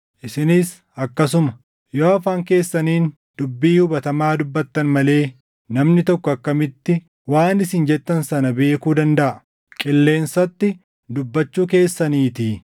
Isinis akkasuma. Yoo afaan keessaniin dubbii hubatamaa dubbattan malee namni tokko akkamitti waan isin jettan sana beekuu dandaʼa? Qilleensatti dubbachuu keessaniitii.